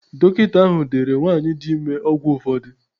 Dọkịta ahụ deere nwanyị dị ime ọgwụ ụfọdụ.